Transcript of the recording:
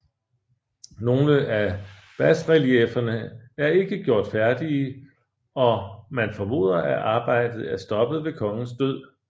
Nogle af basreliefferne er ikke gjort færdige og man formoder at arbejdet er stoppet ved kongens død